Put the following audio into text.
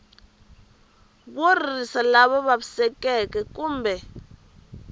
wo ririsa lava vavisekaku kumbe